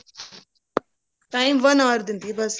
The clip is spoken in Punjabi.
time one hour ਦਿੰਦੀ ਹੈ ਬਸ